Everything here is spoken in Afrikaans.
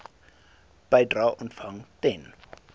bedrae ontvang ten